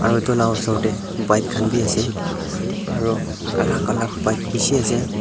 Uhtu la usor tey bike khan beh ase aro alak alak pipe beshi ase.